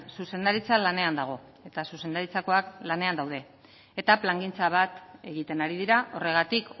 zuzendaritza lanean dago eta zuzendaritzakoak lanean daude eta plangintza bat egiten ari dira horregatik